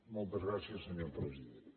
moltes gràcies senyor president